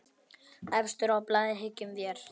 Efstur á blaði, hyggjum vér.